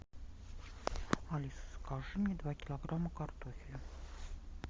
алиса закажи мне два килограмма картофеля